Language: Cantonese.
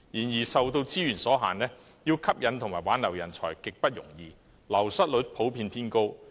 然而，受資源所限，要吸引和挽留人才極不容易，流失率普遍偏高。